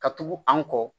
Ka tugu an kɔ